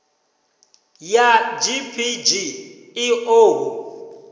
ya gpg i ḓo hu